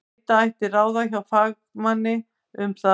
Leita ætti ráða hjá fagmanni um það.